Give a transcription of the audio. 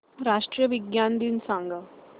राष्ट्रीय विज्ञान दिन सांगा